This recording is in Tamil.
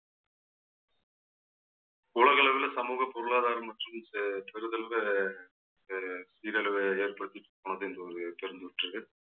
உலக அளவுல சமூக பொருளாதாரம் மற்றும் சே~ பெறுதளவுல அஹ் சீரழிவை ஏற்படுத்தி ஒரு தெரிந்து விட்டிருக்கு.